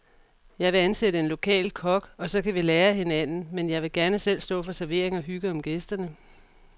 Jeg vil ansætte en lokal kok, og så kan vi lære af hinanden, men jeg vil gerne selv stå for servering og hygge om gæsterne.